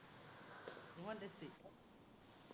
ইমান tasty?